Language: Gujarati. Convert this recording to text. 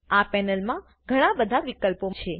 આ પેનલમાં ઘણા બધા વિકલ્પો છે